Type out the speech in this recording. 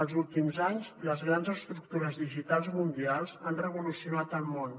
els últims anys les grans estructures digitals mundials han revolucionat el món